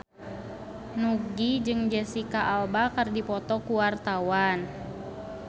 Nugie jeung Jesicca Alba keur dipoto ku wartawan